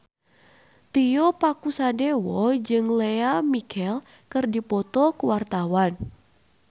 Tio Pakusadewo jeung Lea Michele keur dipoto ku wartawan